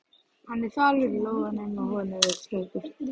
Hann er þvalur í lófunum og honum er flökurt.